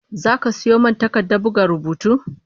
Zaka sayo min takardar buga rubutu?